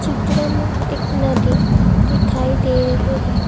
चित्र में एक नदी दिखाई दे रहे हैं।